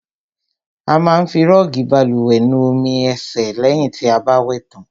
A má ń fi rọọgi bálùwẹ̀ nu omi ẹ̀sẹ̀ lẹ̀hìn ti a bá wẹ̀ tàn.